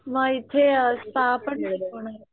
म इथे स्पा पण शिकवणारे?